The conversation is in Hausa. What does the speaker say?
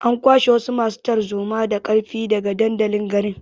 An kwashe wasu masu tarzoma da ƙarfi daga dandalin garin.